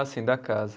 Ah, sim, da casa.